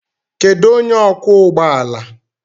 Kedu onye ọkwọ ụgbọ ala?